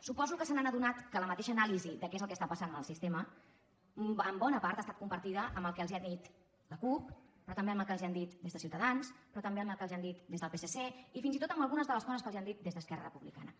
suposo que se n’han adonat que la mateixa anàlisi de què és el que està passant en el sistema en bona part ha estat compartida amb el que els ha dit la cup però també amb el que els han dit des de ciutadans però també amb el que els han dit des del psc i fins i tot amb algunes de les coses que els han dit des d’esquerra republicana